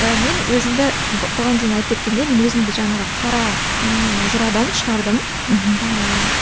і мен өзімді бұған дейін айтып кеткендей мен өзімді жаңағы қара ыыы жырадан шығардым мхм ыыы